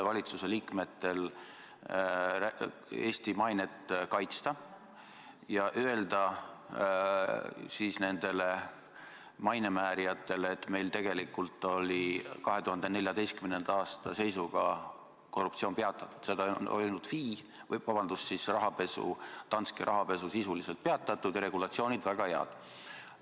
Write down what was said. Valitsuse liikmete kohus on Eesti mainet kaitsta ja öelda nendele maine määrijatele, et meil tegelikult oli 2014. aasta seisuga – seda on öelnud FI – rahapesu, Danske rahapesu sisuliselt peatatud ja regulatsioonid väga head.